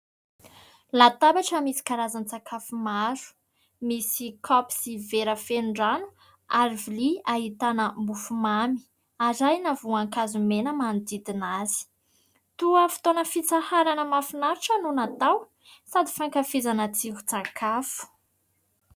Latabatra misy karazan-tsakafo maro, misy kaopy sy vera feno rano ary vilia ahitana mofomamy arahina voankazo mena manodidina azy. Toa fotoana fitsaharana mafinaritra no natao sady fankafizana tsiron-tsakafo.